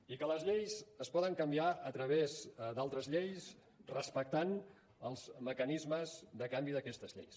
i que les lleis es poden canviar a través d’altres lleis respectant els mecanismes de canvi d’aquestes lleis